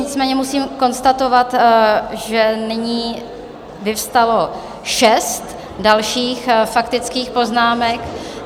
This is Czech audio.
Nicméně musím konstatovat, že nyní vyvstalo šest dalších faktických poznámek.